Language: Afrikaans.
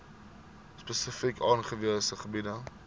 spesifiek aangewese gebiede